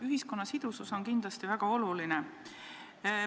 Ühiskonna sidusus on kindlasti väga oluline.